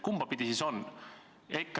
Kumba pidi siis on?